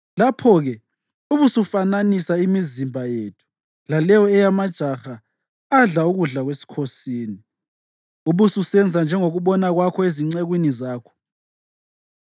Lapho-ke ubusufananisa imizimba yethu laleyo eyamajaha adla ukudla kwesikhosini, ubususenza njengokubona kwakho ezincekwini zakho.”